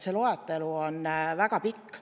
See loetelu on väga pikk.